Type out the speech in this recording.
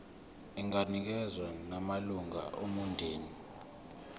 inganikezswa nakumalunga omndeni